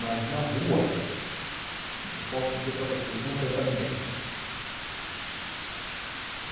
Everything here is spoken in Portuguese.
Mas na rua, eu posso dizer para vocês, não tem para ninguém.